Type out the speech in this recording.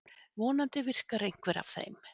Vonandi virkar einhver af þeim.